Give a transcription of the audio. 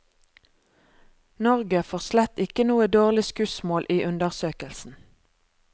Norge får slett ikke noe dårlig skussmål i undersøkelsen.